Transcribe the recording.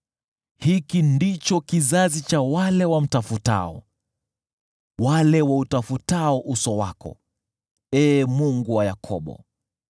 Hiki ndicho kizazi cha wale wamtafutao, wale wautafutao uso wako, Ee Mungu wa Yakobo.